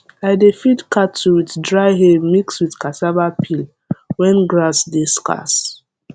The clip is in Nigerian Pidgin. i dey feed cattle with dry hay mix with cassava peel when grass dey scarce